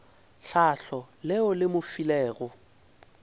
tlhahlo leo le mo filego